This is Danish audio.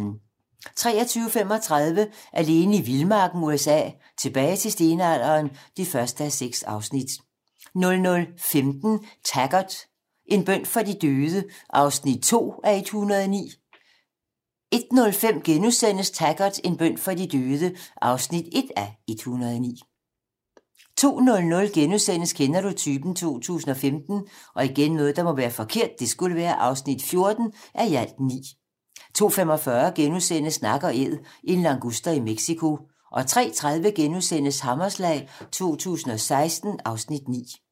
23:35: Alene i vildmarken USA: Tilbage til stenalderen (1:6) 00:15: Taggart: En bøn for de døde (2:109) 01:05: Taggart: En bøn for de døde (1:109)* 02:00: Kender du typen? 2015 (14:9)* 02:45: Nak & Æd - en languster i Mexico * 03:30: Hammerslag 2016 (Afs. 9)*